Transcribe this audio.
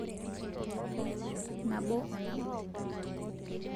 nabo o nabo